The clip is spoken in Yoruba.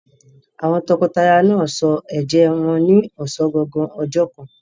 Àwọn tọkọtaya náà sọ ẹ̀jẹ́ wọn ní ọ̀sán gangan ọjọ́ kan.